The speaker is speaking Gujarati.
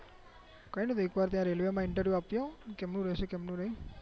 એક વાર ત્યાં railwayinterview આપીઆઓ કેમનું રહેશે કેમનું નહી